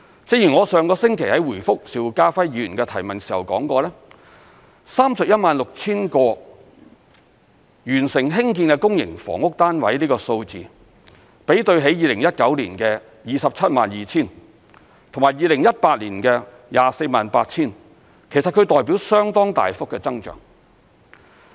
正如我上星期在回覆邵家輝議員的提問時說過 ，316,000 個完成興建的公營房屋單位的數字，比對起2019年的 272,000 個及2018年的 248,000 個，其實代表相當大幅的增長。